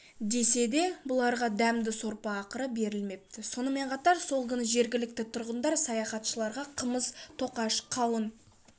деседе бұларға дәмді сорпа ақыры беріліпті сонымен қатар сол күні жергілікті тұрғындар саяхатшыларға қымыз тоқаш қауын